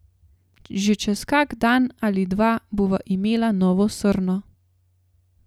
Že čez kak dan ali dva bova imela novo srno.